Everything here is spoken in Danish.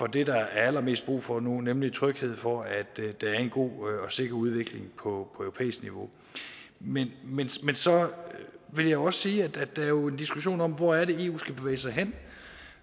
det der er allermest brug for nu nemlig tryghed for at der er en god og sikker udvikling på europæisk niveau men så vil jeg også sige at der jo er en diskussion om hvor eu skal bevæge sig hen